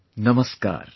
Namaskar